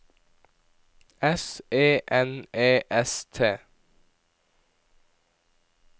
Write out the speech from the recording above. S E N E S T